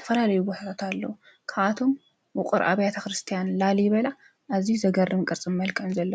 ተፈላለይ ወኅት ኣለዉ ከኣቶም ውቕር ኣብያተ ክርስቲያን ላሊ በላ እዙይ ዘገርም ቅርጽም መልከም ዘለዉ